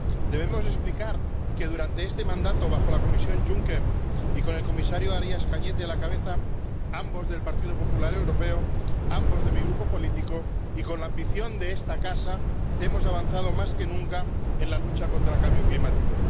Debemos explicar que durante este mandato, bajo la Comisión Juncker —y con el comisario Arias Cañete a la cabeza, ambos del Partido Popular Europeo, ambos de mi Grupo político— y con la ambición de esta casa, hemos avanzado más que nunca en la lucha contra el cambio climático.